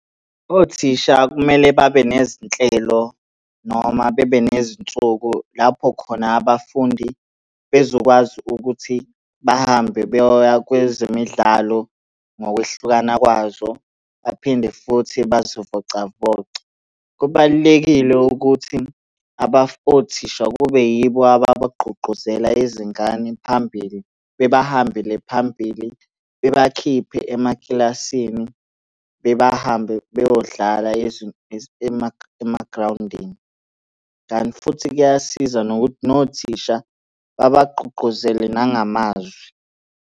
Othisha kumele babe nezinhlelo noma bebe nezinsuku lapho khona abafundi bezokwazi ukuthi bahambe beyoya kwezemidlalo ngokwehlukana kwazo, baphinde futhi bazivocavoce. Kubalulekile ukuthi othisha kube yibo ababagqugquzela izingane phambili, bebahambele phambili. Bebakhiphe emakilasini, bebahambe beyodlala emagrawundini, kanti futhi kuyasiza nokuthi nothisha babagqugquzele nangamazwi.